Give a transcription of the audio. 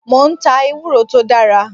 Mo ń ta ewúro tó dára.